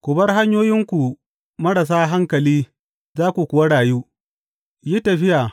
Ku bar hanyoyinku marasa hankali za ku kuwa rayu; yi tafiya